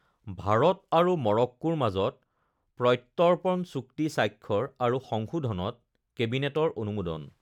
ভাৰত আৰু মৰক্কোৰ মাজত প্ৰত্যৰ্পণ চুক্তি স্বাক্ষৰ আৰু সংশোধনত কেবিনেটৰ অনুমোদন